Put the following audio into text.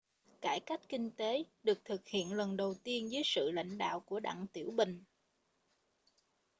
cải cách kinh tế được thực hiện lần đầu tiên dưới sự lãnh đạo của đặng tiểu bình